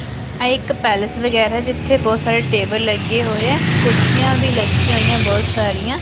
ਇੱਕ ਪੈਲਸ ਵਗੈਰਾ ਜਿੱਥੇ ਬਹੁਤ ਸਾਰੇ ਟੇਬਲ ਲੱਗੇ ਹੋਏ ਆ ਕੁਰਸੀਆਂ ਵੀ ਲੱਗੀਆਂ ਹੋਈਆਂ ਬਹੁਤ ਸਾਰੀਆਂ।